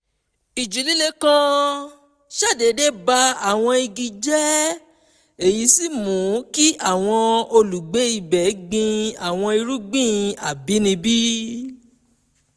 ìjì líle kan ṣàdédé ba àwọn igi jẹ́ èyí sì mú kí àwọn olùgbé ibẹ̀ gbin àwọn irúgbìn àbínibí